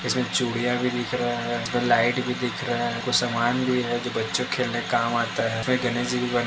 इसमें चूड़ियाँ भी दिख रहे हैं। इस में लाइट भी दिख रहे हैं। कुछ सामान भी है जो बच्चो के खेलने के काम आता है। इसमे बनी--